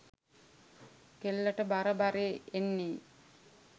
කෙල්ලට බර බරේ එන්නේ